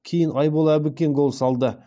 кейін айбол әбікен гол салды